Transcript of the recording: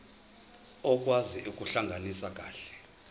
okwazi ukuhlalisana kahle